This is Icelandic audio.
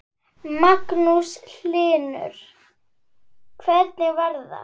Magnús Hlynur: Hvernig var það?